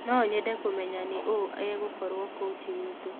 No nyende kũmenya nĩ ũũ egũkorwo kochi witũ.